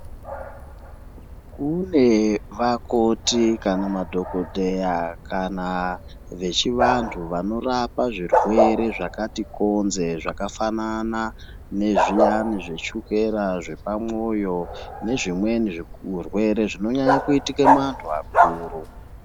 kune vakoti kana madhokodheya kana vechivanhu vanorapa zvirwere zvakati konze zvakafanana nezviyani zvechokera ,zvepamwoyo nezvimweni zvirwere zvinonyanye kuitike muvanhu vakuru.